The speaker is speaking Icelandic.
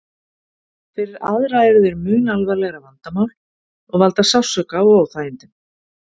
Fyrir aðra eru þeir mun alvarlegra vandamál og valda sársauka og óþægindum.